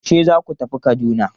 Yaushe zaku tafi Kaduna?